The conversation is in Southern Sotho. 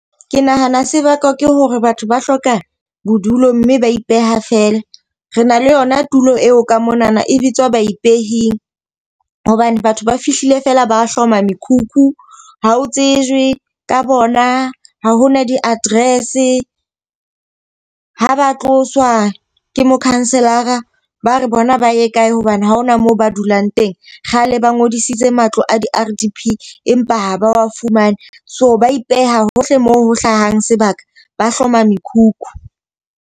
Ke nahana se bakwa ke hore batho ba hloka bodulo mme ba ipeha feela. Re na le yona tulo eo ka monana e bitswa baipehing. Hobane batho ba fihlile fela ba hloma mekhukhu. Ha o tsejwe ka bona, ha hona di-address, ha ba tloswa ke mokhanselara, ba re bona ba ye kae hobane ha hona moo ba dulang teng. Kgale ba ngodisitse matlo a di-R_D_P empa ha ba fumane. So ba ipeha hohle moo ho hlahang sebaka, ba hloma mekhukhu.